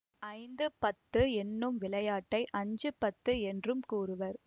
ஐந்துபத்து என்னும் விளையாட்டை அஞ்சுபத்து என்றும் கூறுவர்